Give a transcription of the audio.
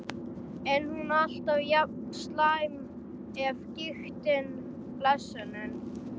Er hún alltaf jafn slæm af gigtinni, blessunin?